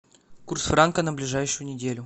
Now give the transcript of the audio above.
курс франка на ближайшую неделю